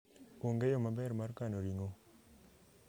onge yo maber mar kano ring'o